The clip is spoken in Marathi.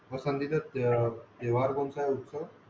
पासनंदिता तेव्हार कोनसा हे उस्का